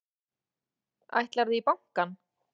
Ætlarðu í bankann?